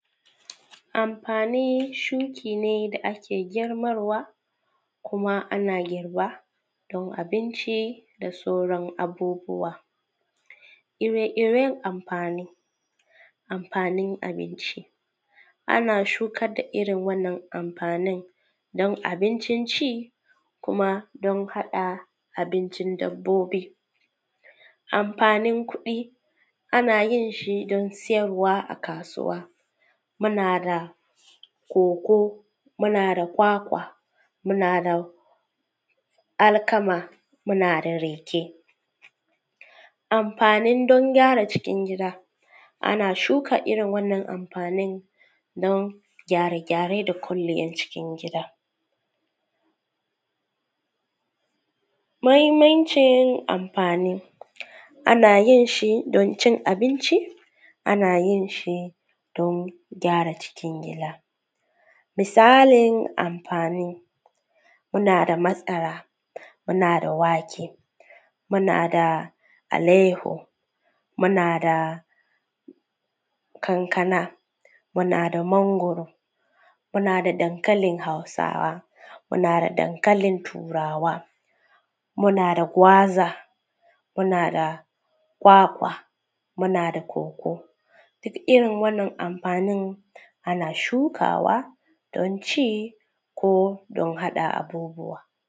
Amfani shuki ne da ke girmarwa kuma: ana girba don abinci da sauran abubuwa. Ire-iren amfanin abinci, ana shukar da irin amfani don abincin ci da na dabbobi. Amfanin kuɗi ana yin shi don sayarwa a kasuwa kamar koko ko kwakwa muna da alkama muna da rake. Amfani don gyara cikin gida ana shuka wannan amfanin don gyare-gyaren da kwalliyar cikin gida. muhimmancin amfani, ana yin shi don cin abinci ana yin shi don gyara cikin gida misali amfani, muna da masara muna da wake muna da alayyaho muna da kankana muna da mangoro muna da dankalin hausawa muna da dankalin turawa muna da gwaza muna da kwakwa muna da koko. Duk irin waɗannan amfanin ana shukawa don ci ko don haɗa abubuwa.